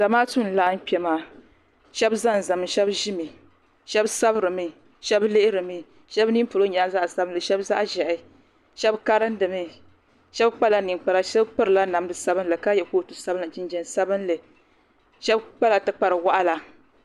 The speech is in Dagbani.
Zamaatu n laɣim kpemaa shabi ʒanʒami shabi ʒimi. shabi sabirimi shabi lihirimi. shabi ninipolɔ nyɛla zaɣi sabinli shabi zaɣi ʒɛhi shabi karimdi mi shabi kpala ninkpara shabi pirila namdi sabinli ka so jinjam sabinli ka ye kootu sabinli shabi kpala ti kpari waɣinli.